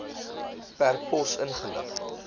per pos ingelig